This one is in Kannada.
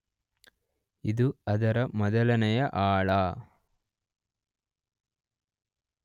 ಇದು ಅದರ ಮೊದಲನೆಯ ಆಳ.